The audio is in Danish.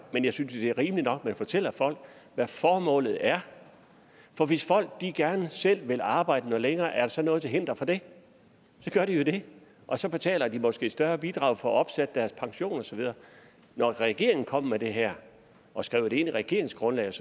men jeg synes det er rimeligt nok at man fortæller folk hvad formålet er for hvis folk gerne selv vil arbejde noget længere er der så noget til hinder for det så gør de jo det og så betaler de måske et større bidrag for at få opsat deres pension og så videre da regeringen kom med det her og skrev det ind i regeringsgrundlaget